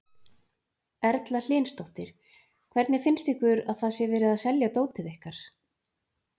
Erla Hlynsdóttir: Hvernig finnst ykkur að það sé verið að selja dótið ykkar?